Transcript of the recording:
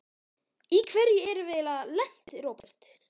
Í hverju erum við eiginlega lent, Róbert?